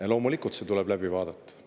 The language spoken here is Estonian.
Ja loomulikult seda tuleb.